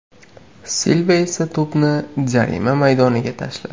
Silva esa to‘pni jarima maydoniga tashladi.